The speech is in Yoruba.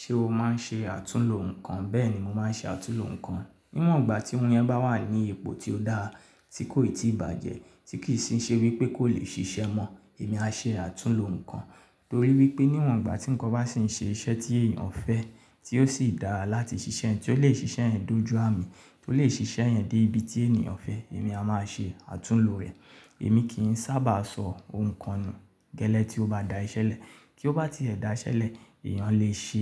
Ṣé o máa ń ṣe àtúnlò nǹkan? Bẹ́ẹ̀ni mo máa ń ṣe àtúnlò nǹkan. Níwọ̀n ìgbà tí oun yẹn bá wà ní ipò tí ó dáa, tí kò ì tí ì bàjẹ́, tí kì ì sí ṣe wípé kò lè ṣiṣẹ́ mọ́, èmi á ṣe àtúnlò nǹkan. Torí wípé níwọ̀n ìgbà tí ǹkan bá sì ń ṣe iṣẹ́ tí èyàn fẹ́, tí ó sì dára láti ṣiṣẹ́ yẹ̀n, tí ó lè ṣiṣẹ́ yẹn dójú àmì, tí ó lè ṣiṣẹ́ yẹn dé ibi tí ènìyàn fẹ́, èmi a máa ṣe àtúnlò rẹ̀. Èmi kì ń sábà sọ oun kan nù gẹ́lẹ́ tí ó bá da iṣẹ́ lẹ̀. Kí ó bá ti ẹ̀ da iṣẹ́ lẹ̀, èyàn lè ṣe